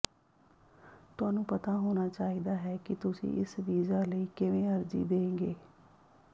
ਤੁਹਾਨੂੰ ਪਤਾ ਹੋਣਾ ਚਾਹੀਦਾ ਹੈ ਕਿ ਤੁਸੀਂ ਇਸ ਵੀਜ਼ਾ ਲਈ ਕਿਵੇਂ ਅਰਜ਼ੀ ਦੇਗੇ